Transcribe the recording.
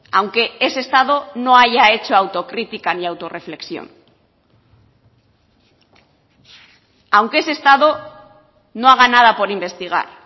aunque ese estado no haya hecho autocrítica ni auto reflexión aunque ese estado no haga nada por investigar